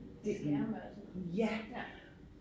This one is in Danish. Skærme og sådan noget ja